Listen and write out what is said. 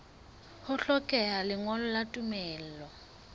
ho hlokeha lengolo la tumello